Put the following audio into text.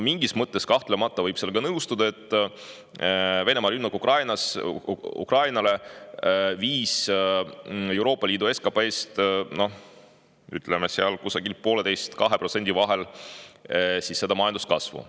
Mingis mõttes kahtlemata võib sellega nõustuda, et Venemaa rünnak Ukrainale viis Euroopa Liidu SKP‑st, majanduskasvust 1,5–2%.